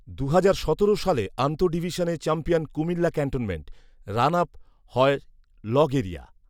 দুহাজার সতেরো সালে আন্তঃডিভিশনে চ্যাম্পিয়ন কুমিল্লা ক্যান্টনমেন্ট। রানআপ হয় লগ এরিয়া